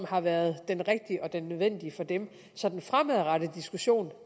har været den rigtige og den nødvendige for dem så den fremadrettede diskussion